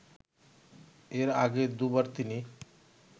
এর আগে দুবার তিনি